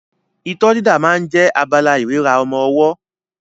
Itọ́ dídà máa ń jẹ́ abala ìríra ọmọ ọwọ́